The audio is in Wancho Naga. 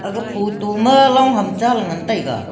photo ma long ham cha ley ngan tai ga.